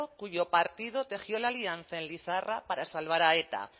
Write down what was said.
cuyo partido tejió la alianza en lizarra para salvar a eta